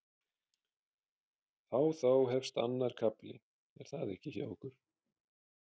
Þá þá hefst annar kafli er það ekki hjá ykkur?